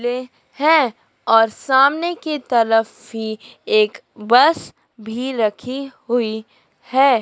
ले है और सामने की तरफ ही एक बस भी रखी हुई है।